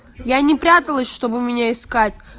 я не пряталась чтобы меня искать